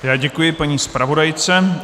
Já děkuji paní zpravodajce.